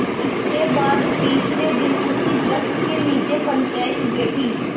इसके बाद तीसरे दिन उसी वृक्ष के नीचे पंचायत बैठी